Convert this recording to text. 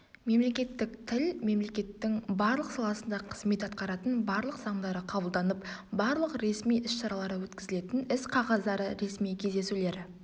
мемлекеттік тіл мемлекеттің барлық саласында қызмет атқаратын барлық заңдары қабылданып барлық ресми ісшаралары өткізілетін іс-қағаздары ресми кездесулері